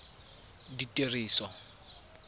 ditiriso